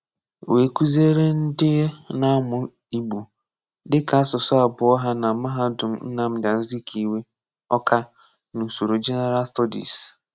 Wèè kụ́zìere ndị na-amụ́ Ìgbò dị́ka asụ̀sụ́ abụ̀ọ̀ ha na Mahádùm Nnamdi Azikiwe, Àwká, n’úsòrò General Studies.